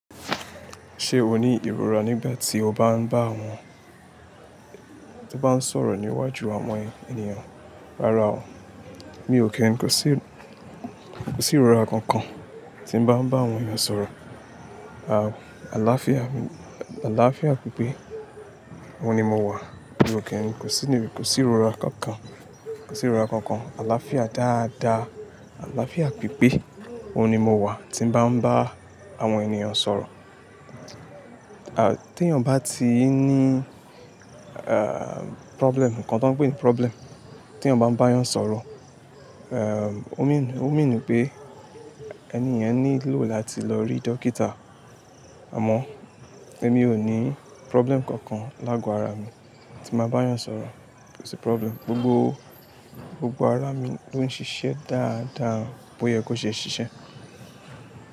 Ṣé o ní ìrora nígbà tí o bá ń bá àwọn- tí o bá ń sọ̀rọ̀ níwájú àwọn ènìyàn? Rárá o, mi ò kí n kò sí, kò sí ìrora kankan tí n bá ń bá àwọn èeyan sọ̀rọ̀. Àà, àlàáfíà, àlàáfíà pípé, òhun ni mo wà. Mi ò kí n kò sí níbi, kò sí ìrora kankan, kò sí ìrora kankan. Àlàáfíà dáadáa, àlàáfíà pípé, òhun ni mo wà tí n bá ń bá àwọn ènìyàn sọ̀rọ̀. À, tí ẹeyan ba tí i ní, problem nǹkan tí wọ́n ń pè ní problem, tí ẹeyan ba n bá eeyàn sọ̀rọ̀, ó mean, o mean pe ènì yen nílò láti lọ rí dókítà. Àmọ́ émí ò ní problem kankan lágo ara mi tí n bàá bá eeyàn sọ̀rọ̀. Kò sí problem. Gbogbo, gbogbo ara mi ló ń ṣiṣẹ́ dáadáa bó ye kó ṣe ṣiṣẹ́.